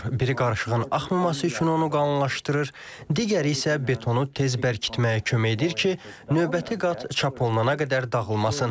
Biri qarışığın axmaması üçün onu qalınlaşdırır, digəri isə betonu tez bərkitməyə kömək edir ki, növbəti qat çap olunana qədər dağılmasın.